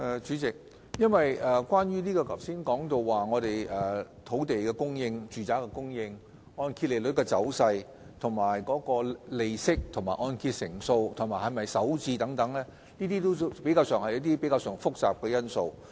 主席，關於剛才提到的土地供應、住宅供應、按揭利率走勢、利息、按揭成數和是否首次置業等，均是相對比較複雜的因素。